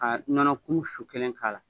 Ka nɔnɔ kumu su kelen k'a la